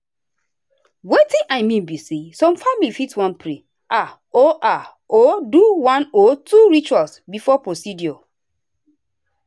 wetin i mean be say some families fit wan pray ah or ah or do one or two rituals before procedure.